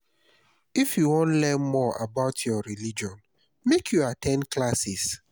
if you wan learn more about your religion make you at ten d classes.